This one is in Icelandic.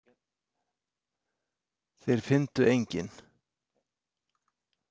Þeir fyndu engin.